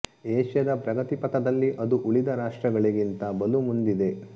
ಏಷ್ಯದ ಪ್ರಗತಿ ಪಥದಲ್ಲಿ ಅದು ಉಳಿದ ರಾಷ್ಟ್ರಗಳಿಗಿಂತ ಬಲು ಮುಂದಿದೆ